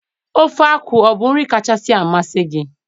ofe akwu ọ bụ nri kacha amasị gị?